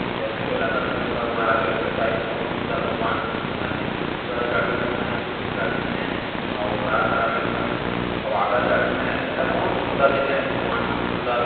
जैसे के रतनपुर में भगवान रहते है वैसे टाइप के बहुत सुन्दर भगवान अउ निम्बू पूरा चढ़े हुए है फूल चढ़े हैं अउ हरा-हरा में ओकर सुहागा चढ़े हुए है ऐसे टाइप में भगवान बहुत सुन्दर दिखे है भगवान बहुत सुन्दर --